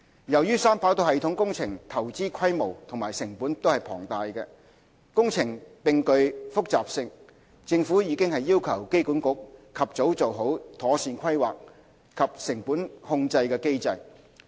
由於三跑道系統工程投資規模和成本龐大，工程並具複雜性，政府已要求機管局及早做好妥善規劃及成本控制機制。